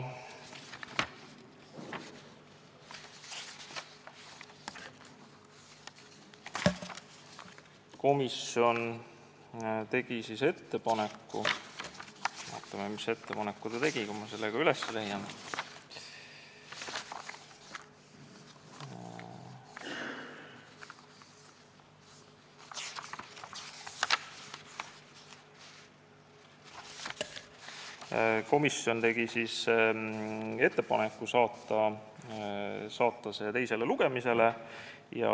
Komisjon tegi ettepaneku – vaatame, mis ettepaneku ta tegi, kui ma selle üles leian – saata eelnõu teisele lugemisele.